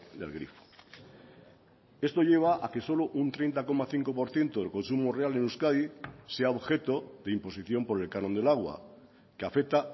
del grifo esto lleva a que solo un treinta coma cinco por ciento del consumo real en euskadi sea objeto de imposición por el canon del agua que afecta